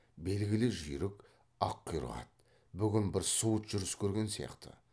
белгілі жүйрік аққұйрық ат бүгін бір суыт жүріс көрген сияқты